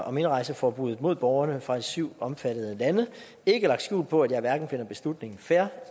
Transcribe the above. om indrejseforbud mod borgerne fra de syv omfattede lande ikke lagt skjul på at jeg hverken finder beslutningen fair